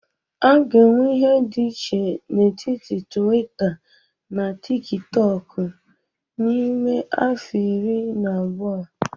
A ga-enwe ihe dị iche n'etiti tuwita na tikitoku n'ime afọ iri na-abia?